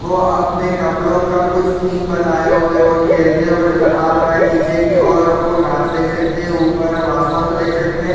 वो अपने कपड़ो का कुछ थीम बनाये हुए वो खेलते हुए नज़र आ रहै हैं नीचे की ओर हमको घाँस देख सकते है ऊपर हम आसमान को देख सकते है।